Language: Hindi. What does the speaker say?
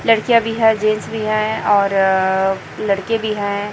लड़कियां भी हैं जेंट्स भी हैं और लड़के भी हैं।